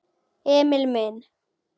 Emil minn.